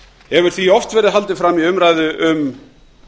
hefur því oft verið haldið fram í umræðu um